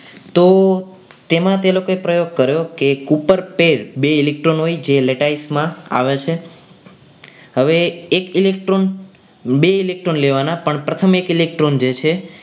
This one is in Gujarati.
તો તેમાંથી લોકોએ પ્રયોગ કર્યો કે ઉપર self બે electron હોય જે letize માં આવે છે હવે એક electron બે electron લેવાના પણ પ્રથમ એક electron જે છે એ